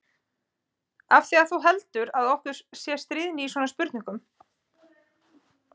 Af því að þú heldur að okkur sé stríðni í svona spurningum.